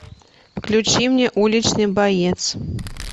включи мне уличный боец